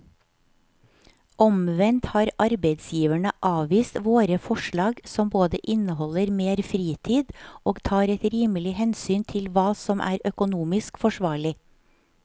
Omvendt har arbeidsgiverne avvist våre forslag som både inneholder mer fritid og tar et rimelig hensyn til hva som er økonomisk forsvarlig.